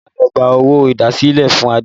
Olá ló gba owó idasile fún Adé